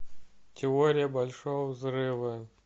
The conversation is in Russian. теория большого взрыва